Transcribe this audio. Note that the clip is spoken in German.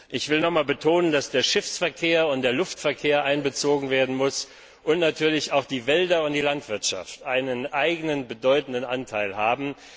Ich will noch einmal betonen, dass der Schiffs und der Luftverkehr einbezogen werden müssen und dass natürlich auch die Wälder und die Landwirtschaft einen eigenen bedeutenden Anteil haben.